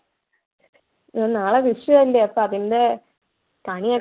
ഹും നാളെ വിഷു അല്ലെ അപ്പൊ അതിന്‍ടെ കണിയൊ~